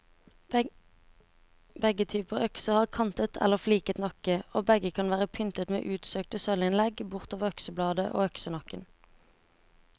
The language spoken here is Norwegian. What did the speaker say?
Begge typer økser har kantet eller fliket nakke, og begge kan være pyntet med utsøkte sølvinnlegg bortover øksebladet og øksenakken.